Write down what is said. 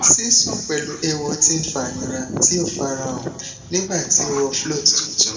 sisun pẹlú ewo tí ń fànírà tí o farahàn nígbà tí o wọ float tuntun